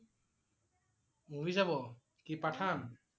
movie চাব? কি Pathan?